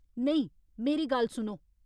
नेईं, मेरी गल्ल सुनो।